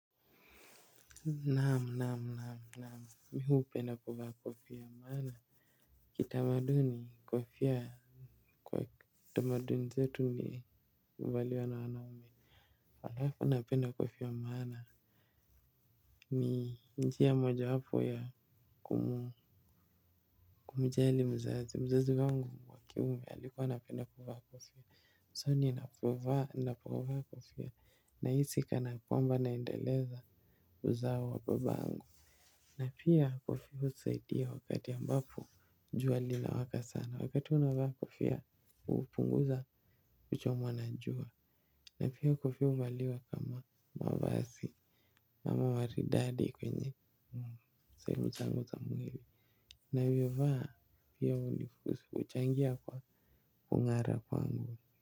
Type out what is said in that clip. Naamu naamu naamu naamu mi hupenda kuvaa kofia maana. Kitamaduni kofia kwa kutamaduni zetu ni uvaliwa na wanaume alafu napenda kofia maana. Ni njia moja wapo ya kumjali mzazi mzazi wangu wa kiume alikuwa akuwa kafia So ninapovaa kofia nahisi kana kwamba naendeleza uzao wa babangu. Na pia kofia usaidia wakati ambapo jua lina waka sana. Wakati unavaa kofia upunguza kuchomwa na jua. Na pia kofia uvaliwa kama mavazi. Kama maridadi kwenye sehemu zangu za mwili. Navyo vaa pia ulifu uchangia kwa kungara kwangu.